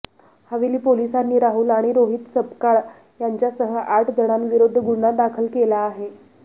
हवेली पोलिसांनी राहुल आणि रोहित सपकाळ यांच्यासह आठ जणांविरोधात गुन्हा दाखल केला आहे